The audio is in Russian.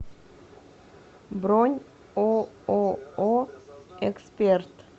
бронь ооо эксперт